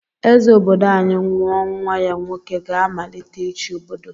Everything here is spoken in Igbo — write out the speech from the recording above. Eze obodo anyi nwụọ nwa ya nwoke gá-amalite ichi obodo.